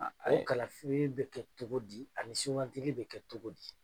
O kalafili be kɛ cogo di? ani sugantili be kɛ cogo di ?